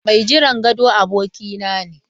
Mai jiran gado abokina ne.